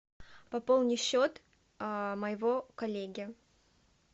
пополни счет моего коллеги